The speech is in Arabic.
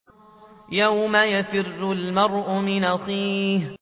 يَوْمَ يَفِرُّ الْمَرْءُ مِنْ أَخِيهِ